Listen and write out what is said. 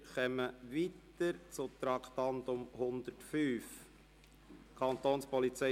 Wir fahren weiter mit dem Traktandum 105: